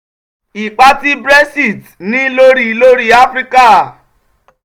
ipa tí 'brexit' ní lórí lórí áfíríkà